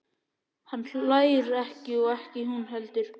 Hann hlær ekki og ekki hún heldur.